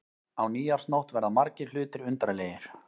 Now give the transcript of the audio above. Á nýársnótt verða margir hlutir undarlegir.